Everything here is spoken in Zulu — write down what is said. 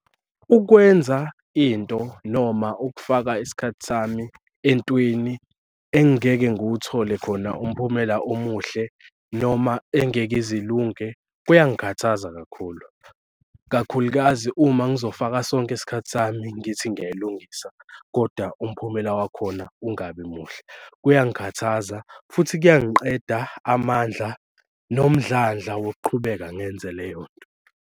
Ukwenza into noma ukufaka isikhathi sami entweni engeke ngiwuthole khona umphumela omuhle noma engeke ize ilunge kuyangikhathaza kakhulu. Ikakhulukazi uma ngizofaka sonke isikhathi sami ngithi ngiyayilungisa kodwa umphumela wakhona ungabi muhle, kuyangikhathaza futhi kuyangiqeda amandla nomdlandla wokuqhubeka ngenze le yonto.